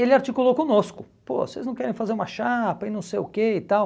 Ele articulou conosco, pô, vocês não querem fazer uma chapa e não sei o que e tal.